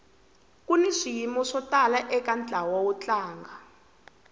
kuni swiyimo swo tala eka ntlawa wo tlanga